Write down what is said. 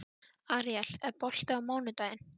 Aríel, er bolti á mánudaginn?